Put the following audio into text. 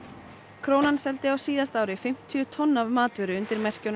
krónan seldi á síðasta ári fimmtíu tonn af matvöru undir merkjunum